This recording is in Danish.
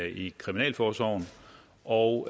i kriminalforsorgen og